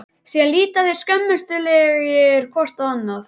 Síðan líta þeir skömmustulegir hvor á annan.